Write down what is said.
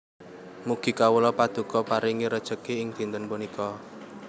Mugi kawula Paduka paringi rejeki ing dinten punika